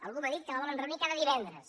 algú m’ha dit que la volen reunir cada divendres